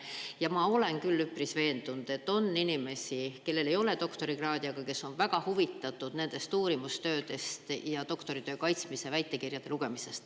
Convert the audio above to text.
Ja ma olen küll üpris veendunud, et on inimesi, kellel ei ole doktorikraadi, aga kes on väga huvitatud nendest uurimustöödest, doktoritöö kaitsmistest ja väitekirjade lugemisest.